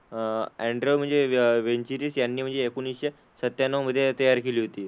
अह एंड्रयू म्हणजे वेनरिच यांनी म्हणजे एकोणीसशे सत्त्याण्णव मधे तयार केली होती.